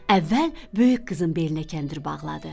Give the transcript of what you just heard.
Əvvəl böyük qızın belinə kəndir bağladı.